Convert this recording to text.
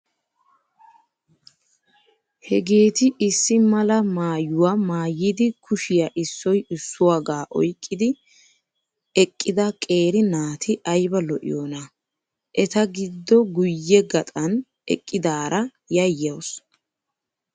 Hgeeti issi mala maayyuwaa maayyidi kushiyaa issoyi issuwaagaa oyiqqi eqqida qeeri naati ayba lo'iyoonaa. Eta giddo guyye gaxan eqqidaara yayyawusu.